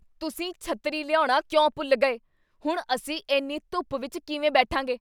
ਤੁਸੀਂ ਛੱਤਰੀ ਲਿਆਉਣਾ ਕਿਉਂ ਭੁੱਲ ਗਏ? ਹੁਣ ਅਸੀਂ ਇੰਨ੍ਹੀ ਧੁੱਪ ਵਿਚ ਕਿਵੇਂ ਬੈਠਾਂਗੇ?